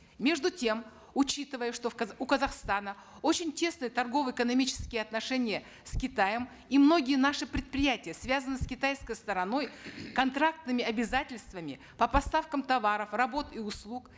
между тем учитывая что в у казахстана очень тесные торгово экономические отношения с китаем и многие наши предприятия связаны с китайской стороной контрактными обязательствами по поставкам товаров работ и услуг